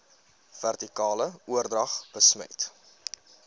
vertikale oordrag besmet